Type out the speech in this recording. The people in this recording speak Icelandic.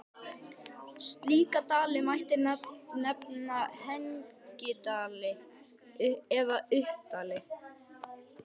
Slíka dali mætti nefna hengidali eða uppdali.